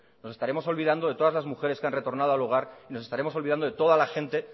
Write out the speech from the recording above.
nos estaremos olvidando de todas las mujeres que han retornado al hogar y nos estaremos olvidando de toda la gente